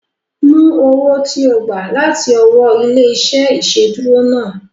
Mú owó ti o gba láti ọwọ́ ilé-iṣẹ́ ìsedúró náà